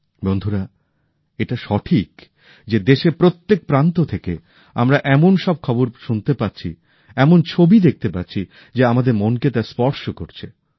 বন্ধুরা এটা সঠিক যে দেশের প্রত্যেক প্রান্ত থেকে আমরা এমন সব খবর শুনতে পাচ্ছি এমন ছবি দেখতে পাচ্ছি যে আমাদের মনকে তা স্পর্শ করছে